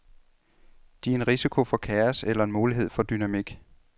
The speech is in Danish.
De er en risiko for kaos eller en mulighed for dynamik.